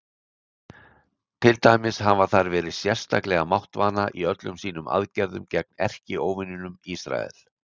Til dæmis hafa þær verið sérstaklega máttvana í öllum sínum aðgerðum gegn erkióvininum Ísrael.